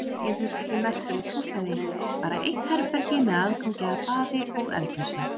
Ég þurfti ekki merkilegt húsnæði, bara eitt herbergi með aðgangi að baði og eldhúsi.